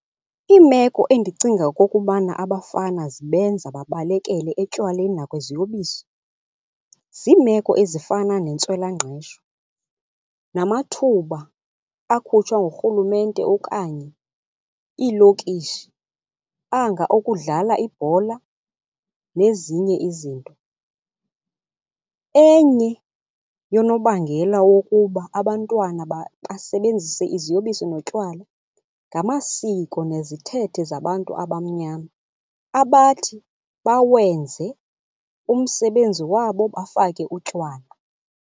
Iimeko endicinga okokubana abafana zibenza babalekele etywaleni nakwiziyobisi, ziimeko ezifana nentswelangqesho namathuba akhutshwa nguRhulumente okanye iilokishi anga okudlala ibhola nezinye izinto. Enye yonobangela wokuba abantwana basebenzise iziyobisi notywala ngamasiko nezithethe zabantu abamnyama abathi bawenze umsebenzi wabo bafake utywala.